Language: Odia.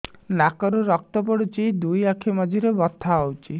ନାକରୁ ରକ୍ତ ପଡୁଛି ଦୁଇ ଆଖି ମଝିରେ ବଥା ହଉଚି